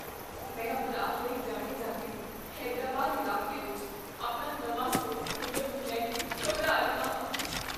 ਮੈਂ ਅਪਰਾਧ ਲਈ ਜਾਣੇ ਜਾਂਦੇ ਹੈਦਰਾਬਾਦ ਇਲਾਕੇ ਵਿੱਚ ਆਪਣਾ ਨਵਾਂ ਸਟੋਰ ਖੋਲ੍ਹਣ ਨੂੰ ਲੈ ਕੇ ਘਬਰਾ ਰਿਹਾ ਹਾਂ।